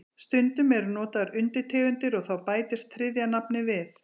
Stundum eru notaðar undirtegundir og þá bætist þriðja nafnið við.